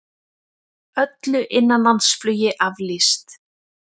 Öllu innanlandsflugi aflýst